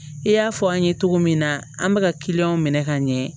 I y'a fɔ an ye cogo min na an bɛ ka kiliyan minɛ ka ɲɛ